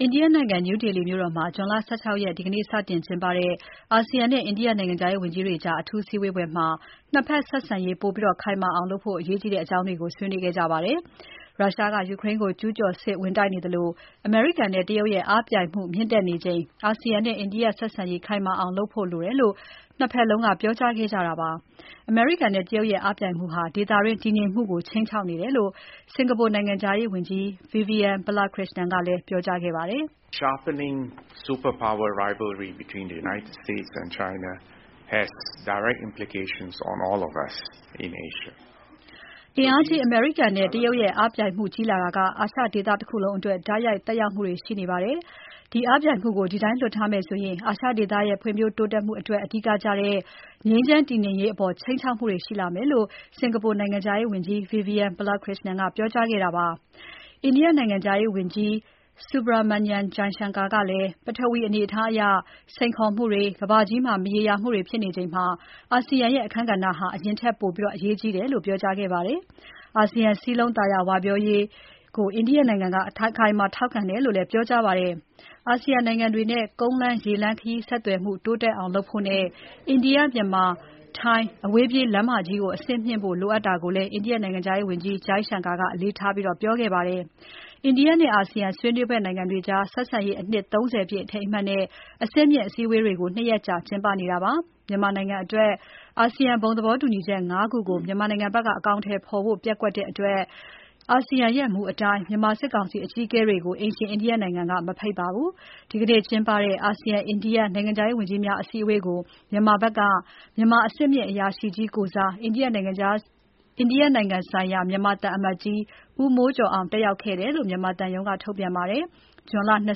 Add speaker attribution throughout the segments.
Speaker 1: အိန္ဒိယနိုင်ငံ New Delhi မြို့တော်မှာ ဒီနေ့ ဇွန်လ ၁၆ ရက်စတင်ကျင်းပတဲ့ အာဆီယံနဲ့ အိန္ဒိယနိုင်ငံ နိုင်ငံခြားရေးဝန်ကြီးတွေကြား အထူးစည်းဝေးပွဲမှာ ၂ ဘက်ဆက်ဆံရေး ပိုပြီးခိုင်မာအောင်လုပ်ဖို့ အရေးကြီးတဲ့အကြောင်းတွေ ဆွေးနွေးခဲ့ကြပါတယ်။ ရုရှားက ယူကရိန်းကို ကျူးကျော်စစ်ဝင် တိုက်နေသလို အမေရိကန်နဲ့ တရုတ်ရဲ့ အားပြိုင်မှုမြင့်တက်နေချိန် အာဆီယံနဲ့ အိန္ဒိယဆက်ဆံရေး ခိုင်မာအောင်လုပ်ဖို့ လိုတယ်လို့ ၂ ဘက်လုံးက ပြောကြားခဲ့ကြပါတယ်။ အမေရိကန်နဲ့ တရုတ်ရဲ့ အားပြိုင်မှုဟာ ဒေသတွင်းတည်ငြိမ်မှုကို ခြိမ်းခြောက်နေတယ်လို့ စင်္ကာပူ နိုင်ငံခြားရေးဝန်ကြီး Vivian Balakrishnan (ဗီဗီယန် ဗလခရစ်ရှနန်) က ပြောကြားခဲ့ပါတယ်။ အင်အားကြီး အမေရိကန်နဲ့ တရုတ်ရဲ့ အားပြိုင်မှုကြီးလာတာက အာရှဒေသတခုလုံးအတွက် တိုက်ရိုက်သက်ရောက်မှုတွေရှိနေပါတယ်။ ဒီအားပြိုင်မှုကို ဒီတိုင်းလွှတ်ထားမယ်ဆိုရင် အာရှဒေသရဲ့ ဖွံ့ဖြိုး တိုးတက်မှုအတွက် အဓိကကျတဲ့ ငြိမ်းချမ်း တည်ငြိမ်ရေးအပေါ် ခြိမ်းခြောက်မှုတွေရှိလာမယ်လို့ စင်္ကာပူနိုင်ငံခြားရေးဝန်ကြီး Vivian Balakrishnan (ဗီဗီယန် ဗလခရစ်ရှနန်) ကပြောကြားခဲ့တာဖြစ်ပါတယ်။ အိန္ဒိယနိုင်ငံခြားရေးဝန်ကြီး Subrahmanyam Jaishankar (ဆူဘရာမန်ညံ ချိုင်းရှန်ကာ) ကလည်း ပထဝီအနေအထားအရ စိန်ခေါ်မှုတွေ၊ ကမ္ဘာကြီးမှာ မရေရာမှုတွေဖြစ်နေချိန် အာဆီယံရဲ့ အခန်းကဏ္ဍဟာ အရင်ကထက်ပိုပြီး အရေးကြီးတယ်လို့ ပြောကြားခဲ့ပါတယ်။ အာဆီယံ စည်းလုံး သာယာဝပြောရေးကို အိန္ဒိယက အခိုင်အမာထောက်ခံတယ်လို့လည်း ပြောကြားပါတယ်။ အာဆီယံနိုင်ငံတွေနဲ့ ကုန်းလမ်း၊ ရေလမ်းခရီးဆက်သွယ်မှု တိုးတက်အောင်လုပ်ဖို့နဲ့ အိန္ဒိယ၊ မြန်မာ၊ ထိုင်းအဝေးပြေးလမ်းမကြီးကို အဆင့်မြှင့်ဖို့ လိုအပ်တာကိုလည်း အိန္ဒိယနိုင်ငံခြားရေးဝန်ကြီး ချိုင်းရှန်ကာက အလေးထားပြောခဲ့ပါတယ်။ အိန္ဒိယနဲ့ အာဆီယံ ဆွေးနွေးဘက်နိုင်ငံတွေကြား ဆက်ဆံရေးအနှစ် ၃၀ ပြည့်အထိမ်းအမှတ်နဲ့ အဆင့်မြင့်အစည်းအဝေးတွေကို ၂ ရက်ကြာကျင်းပနေတာပါ။ မြန်မာနိုင်အတွက် အာဆီယံသဘောတူညီချက် ၅ ခုကို မြန်မာဘက်က အကောင်အထည်ဖော်ဖို့ ပျက်ကွက်တဲ့အတွက် အာဆီယံရဲ့ မူအတိုင်း မြန်မာစစ်ကောင်စီအကြီးအကဲတွေကို အိမ်ရှင်အိန္ဒိယနိုင်ငံက မဖိတ်ပါဘူး။ ဒီနေ့ကျင်းပတဲ့ အာဆီယံ-အိန္ဒိယ နိုင်ငံခြားရေးဝန်ကြီးများ အစည်းအဝေးကို မြန်မာနိုင်ငံဘက်က မြန်မာအဆင့်မြင့်အရာရှိကြီးကိုယ်စား အိန္ဒိယနိုင်ငံဆိုင်ရာ မြန်မာသံအမတ်ကြီး ဦးမိုးကျော်အောင် တက်ရောက်ခဲ့တယ်လို့ မြန်မာသံရုံးက ထုတ်ပြန်ပါတယ်။ ဇွန်လ ၂၁ ရ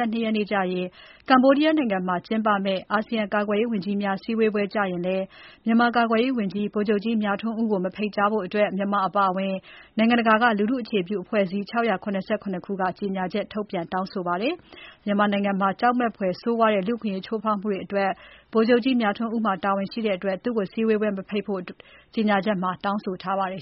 Speaker 1: က်ကနေ ၂၂ ရက်နေ့အထိ Cambodia နိုင်ငံမှာ ၂ ရက်ကြာကျင်းပမယ့် အာဆီယံကာကွယ်ရေးဝန်ကြီးများ စည်းဝေးပွဲကျရင်လည်း မြန်မာကာကွယ်ရေးဝန်ကြီး ဗိုလ်ချုပ်ကြီး မြထွန်းဦးကို မဖိတ်ကြားဖို့ မြန်မာအပါအဝင် နိုင်ငံတကာက လူထုအခြေပြုအဖွဲ့အစည်း ၆၇၇ ခုက ကြေညာချက် ထုတ်ပြန်တောင်းဆိုထားပါတယ်။ မြန်မာနိုင်ငံမှာ ကြောက်မက်ဖွယ်ဆိုးဝါးတဲ့ လူ့အခွင့်အရေး ချိုးဖောက်မှုတွေအတွက် ဗိုလ်ချုပ်ကြီး မြထွန်းဦးမှာ တာဝန်ရှိတဲ့အတွက် သူ့ကိုစည်းဝေးပွဲ မဖိတ်ဖို့ ကြေညာချက်မှာ တောင်းဆိုထားပါတယ်